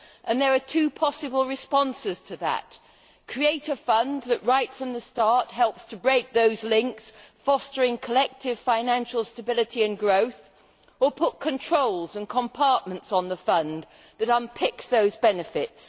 There are two possible responses to that create a fund that right from the start helps to break those links, fostering collective financial stability and growth, or put controls and compartments on the fund that unpicks those benefits.